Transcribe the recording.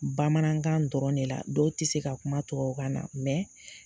Bamanankan dɔrɔn de la. Dɔw te se ka kuma tuwabukan na